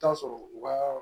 Taa sɔrɔ u ka